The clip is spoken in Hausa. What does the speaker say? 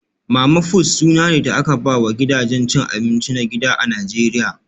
Mama-fut suna ne da aka ba wa gidajen cin abinci na gida a Najeriya